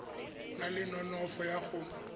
na le nonofo ya go